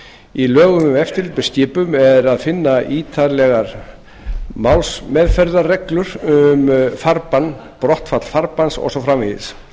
í lögum um eftirlit með skipum er að finna ítarlegar málsmeðferðarreglur um farbann brottfall farbanns og svo framvegis